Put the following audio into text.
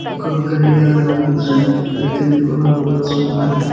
ఒక గడియారం ఉన్నది అది తెలుపు రంగులో ఉన్నది.